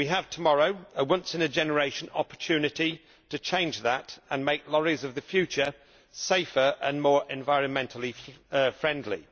Tomorrow, we will have a once in a generation opportunity to change that and to make lorries of the future safer and more environmentally friendly.